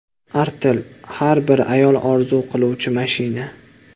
Artel: Har bir ayol orzu qiluvchi mashina.